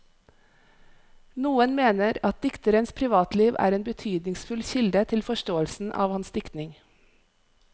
Noen mener at dikterens privatliv er en betydningsfull kilde til forståelsen av hans diktning.